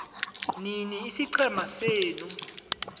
nini isiqhema senu